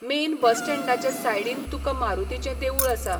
Main bus स्टँडाचे सायडीन तुका मारुतीचें देवूळ आसा.